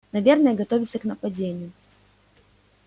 наверное готовится к нападению